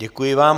Děkuji vám.